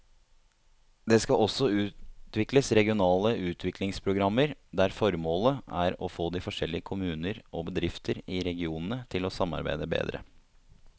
Det skal også utvikles regionale utviklingsprogrammer der formålet er å få de forskjellige kommuner og bedrifter i regionene til å samarbeide bedre.